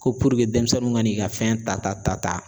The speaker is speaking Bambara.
Ko denmisɛnninw ka n'i ka fɛn ta ta